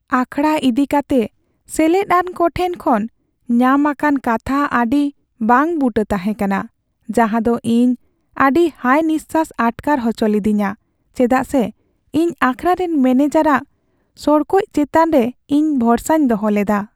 ᱟᱠᱷᱟᱲᱟ ᱤᱫᱤ ᱠᱟᱛᱮ ᱥᱮᱞᱮᱫ ᱟᱱ ᱠᱚ ᱴᱷᱮᱱ ᱠᱷᱚᱱ ᱧᱟᱢ ᱟᱠᱟᱱ ᱠᱟᱛᱷᱟ ᱟᱹᱰᱤ ᱵᱟᱝᱼᱵᱩᱴᱟᱹ ᱛᱟᱦᱮᱸ ᱠᱟᱱᱟ, ᱡᱟᱦᱟᱸ ᱫᱚ ᱤᱧ ᱟᱹᱰᱤ ᱦᱟᱭ ᱱᱤᱥᱥᱟᱹᱥ ᱟᱴᱠᱟᱨ ᱚᱪᱚ ᱞᱤᱫᱤᱧᱟ ᱪᱮᱫᱟᱜ ᱥᱮ ᱤᱧ ᱟᱠᱷᱟᱲᱟ ᱨᱮᱱ ᱢᱚᱱᱮᱡᱟᱨ ᱟᱜ ᱥᱚᱲᱠᱚᱡ ᱪᱮᱛᱟᱱ ᱨᱮ ᱤᱧ ᱵᱷᱚᱨᱥᱟᱧ ᱫᱚᱦᱚ ᱞᱮᱫᱟ ᱾